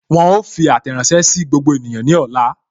Wọn ó fi àtẹ̀ránsẹ́ sí gbogbo ènìyàn ní ọ̀la